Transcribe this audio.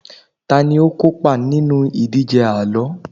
tani o kópa nínú ìdíje àlọ